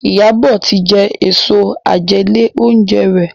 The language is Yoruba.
Iyabo tí jé Èso àjẹlé-oúnjẹ rẹ.